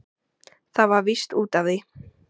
Það var víst út af því!